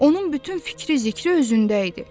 Onun bütün fikri zikri özündə idi.